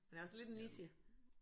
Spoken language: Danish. Men det er også lidt en niche